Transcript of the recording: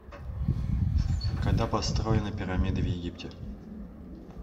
когда построены пирамиды в египте